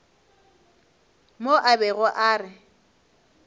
mo a bego a re